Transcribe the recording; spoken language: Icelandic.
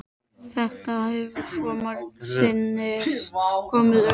Þetta hefur svo margsinnis komið upp.